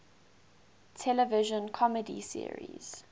television comedy series